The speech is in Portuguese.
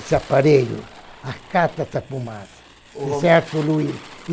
esse aparelho, acata essa fumaça, esse ar poluído. O Romeiro